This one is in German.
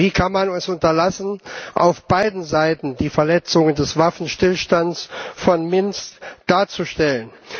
Wie kann man es unterlassen, auf beiden Seiten die Verletzungen des Waffenstillstands von Minsk darzustellen?